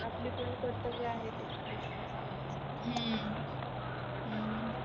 आपला पण कर्तव्य आहे की लोकांना सांगण्याच हम्म